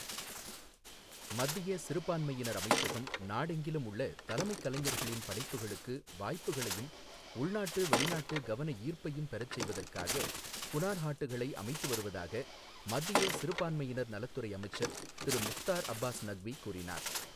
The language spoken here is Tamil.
மத்திய சிறுபான்மையினர் அமைச்சகம் நாடெங்கிலும் உள்ள தலைமைக் கலைஞர்களின் படைப்புகளுக்கு வாய்ப்புக்களையும், உள்நாட்டு, வெளிநாட்டு கவன ஈர்ப்பையும் பெறச் செய்வதற்காக ஹுனார்ஹாட்டுகளை அமைத்து வருவதாக மத்திய சிறுபான்மையினர் நலத்துறை அமைச்சர் திரு முக்தார் அப்பாஸ் நக்வி கூறினார்.